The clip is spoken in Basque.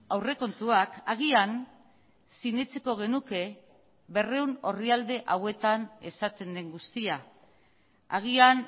aurrekontuak agian sinetsiko genuke berrehun orrialde hauetan esaten den guztia agian